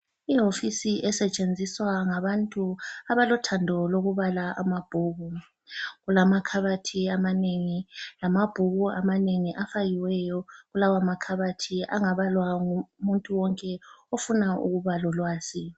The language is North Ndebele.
Iwofisi esetshenziswa ngabantu abalothando lokubala amabhuku. Kulamakhabothi amanengi, lamabhuku amanengi afakiweyo kulawamakhabothi angabalwa ngumuntu wonke ofuna ukuba lolwazi.